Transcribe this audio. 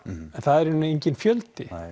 en það er í raun enginn fjöldi